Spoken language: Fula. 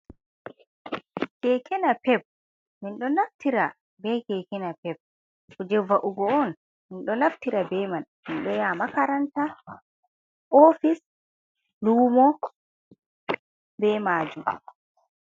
Keke napeb min ɗo naftira be keke napeb, kuje va’'ugo on. Min ɗo naftira be man ,min ɗo yaha makaranta ,ofis, luumo be maajmu.